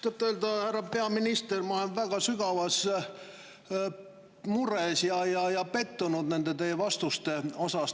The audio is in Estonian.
Tõtt-öelda, härra peaminister, ma olen väga sügavas mures ja pettunud teie vastustes.